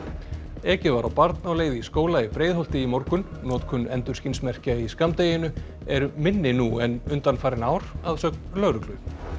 ekið var á barn á leið í skóla í Breiðholti í morgun notkun endurskinsmerkja í skammdeginu er minni nú en undanfarin ár að sögn lögreglu